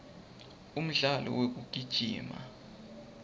umdlalo wekugijima